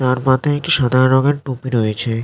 তার মাথায় একটি সাদা রঙের টুপি রয়েছে।